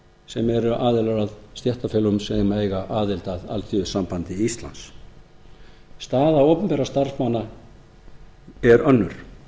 sem eru aðilar að stéttarfélögum sem eiga aðild að alþýðusambandi íslands staða opinberra starfsmanna er önnur